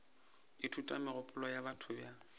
ithuta megopolo ya batho bjang